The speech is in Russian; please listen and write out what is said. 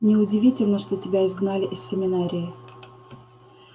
неудивительно что тебя изгнали из семинарии